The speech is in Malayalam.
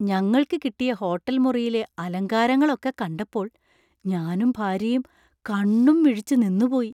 ഞങ്ങൾക്ക് കിട്ടിയ ഹോട്ടൽ മുറിയിലെ അലങ്കാരങ്ങൾ ഒക്കെ കണ്ടപ്പോൾ ഞാനും ഭാര്യയും കണ്ണും മിഴിച്ച് നിന്നുപോയി.